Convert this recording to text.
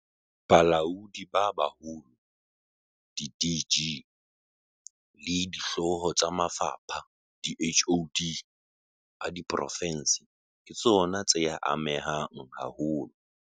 Balaodi ba Baholo, di-DG, le dihlooho tsa mafapha, diHoD, a diprofense ke tsona tseya amehang haholo.